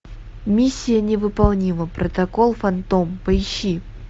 миссия невыполнима протокол фантом поищи